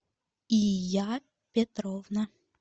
ия петровна